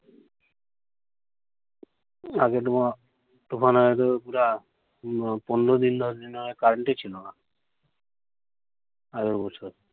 আগে তো তুফান আয়া তো পুরা পনের দিন দশ দিন ধরে current ই ছিলো না। আগের বছর।